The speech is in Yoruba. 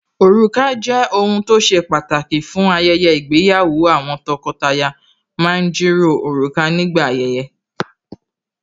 Òrùka jẹ́ ohun tó ṣe pàtàkì fún ayẹyẹ ìgbéyàwó Àwọn tọkọtaya ma ń jìrọ̀ òrùka nígbà ayẹyẹ